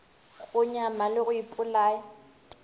go nyama le go ipolaya